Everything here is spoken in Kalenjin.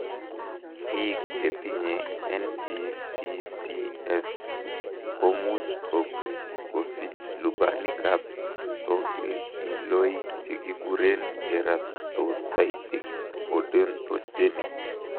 Biik chetinye NBCCS komuch kosich lubanikab tokilkiloik chekikuren keratocystic odontogenic.